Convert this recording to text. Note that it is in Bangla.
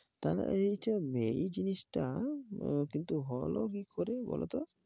তাহলে এই যে মে এই জিনিসটা, কিন্তু হলো কি করে বলো তো?